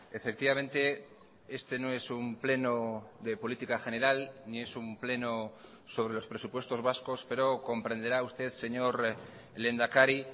efectivamente este no es un pleno de política general ni es un pleno sobre los presupuestos vascos pero comprenderá usted señor lehendakari